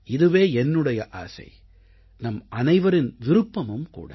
இதுவே என்னுடைய ஆசை நம்மனைவரின் விருப்பமும் கூட